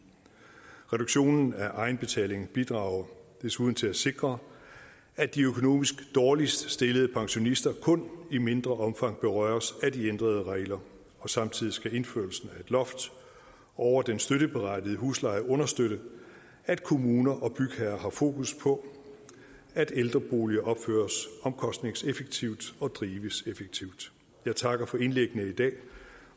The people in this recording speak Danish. reduktionen af egenbetaling bidrager desuden til at sikre at de økonomisk dårligst stillede pensionister kun i mindre omfang berøres af de ændrede regler og samtidig skal indførelsen af et loft over den støtteberettigede husleje understøtte at kommuner og bygherrer har fokus på at ældreboliger opføres omkostningseffektivt og drives effektivt jeg takker for indlæggene i dag